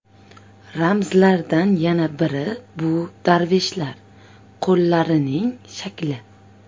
Ramzlardan yana biri bu darveshlar qo‘llarining shakli.